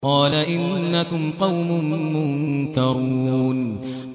قَالَ إِنَّكُمْ قَوْمٌ مُّنكَرُونَ